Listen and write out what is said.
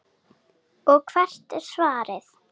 Og hvert er svarið?